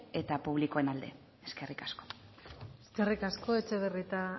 eta publikoen alde eskerrik asko eskerrik asko etxebarrieta